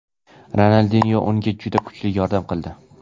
Ronaldinyo unga juda kuchli yordam qildi.